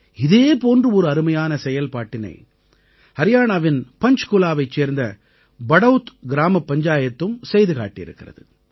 இதே போன்ற ஒரு அருமையான செயல்பாட்டினை ஹரியாணாவின் பஞ்ச்குலாவைச் சேர்ந்த படௌத் கிராமப் பஞ்சாயத்தும் செய்து காட்டியிருக்கிறது